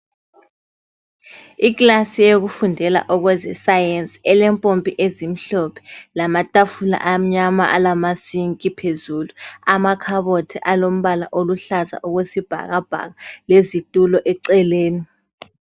Iklasi yokufundela okwezesayensi elempompi ezimhlophe lamatafula amnyama alamasinki phezulu lamakhabothi alombala oluhlaza okwesibhakabhaka lezitulo eceleni